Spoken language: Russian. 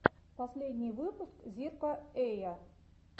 последний выпуск зирка эя